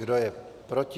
Kdo je proti?